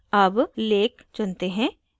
अब lake चुनते हैं